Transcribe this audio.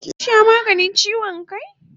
Kin sha maganin chiwon kai?